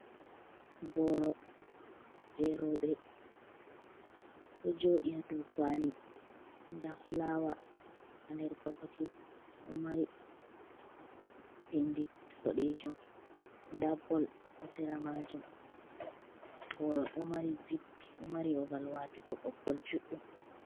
Boro je roɓe do jooɗii haa do kwali, nda fulawa ha nder bokoti do mari pindi boɗejum, nda bol haa sera maajum, boro do mari zip, do mari babal watugo ɓoggol juɗɗum.